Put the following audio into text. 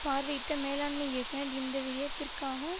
பார்வையிட்ட மேலாண்மை இயக்குனர் இந்த வியத்திற்கான